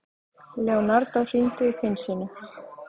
Leonardo, hringdu í Finnsínu.